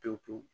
Pewu pewu